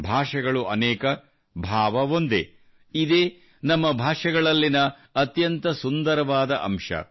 ಭಾಷೆಗಳು ಅನೇಕಭಾವ ಒಂದೇ ಇದೇ ನಮ್ಮ ಭಾಷೆಗಳಲ್ಲಿನ ಅತ್ಯಂತ ಸುಂದರವಾದ ಅಂಶ